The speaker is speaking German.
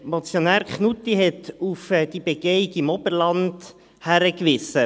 Motionär Knutti hat auf die Begehung im Oberland hingewiesen.